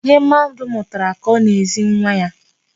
Ihe mmadụ mụtara ka ọ na-ezi nwa ya.